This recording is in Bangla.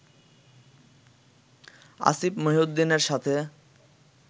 আসিফ মহিউদ্দিনের সাথে